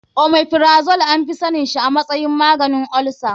Omeprazole anfi sanin shi a matsayin maganin olsa.